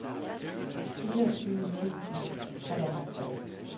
fireogtyve tusind og treoghalvtreds